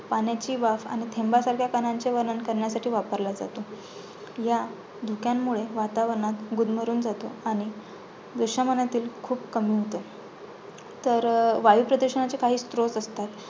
पाण्याची वाफ आणि थेंबासारख्या कणांचे वर्णन करण्यासाठी वापरला जातो. ह्या धुक्यांमुळे वातावरणात गुदमरून जातो आणि खूप कमी होतो. तर वायुप्रदुषणाचे काही स्त्रोत असतात.